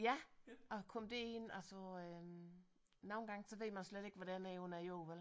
Ja at komme derind altså øh nogle gange så ved man slet ikke man er under jorden vel